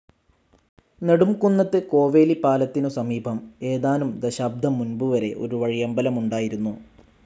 നെടുംകുന്നത്ത്‌ കോവേലിപ്പാലത്തിനു സമീപം ഏതാനും ദശാബ്ദം മുൻപുവരെ ഒരു വഴിയമ്പലമുണ്ടായിരുന്നു.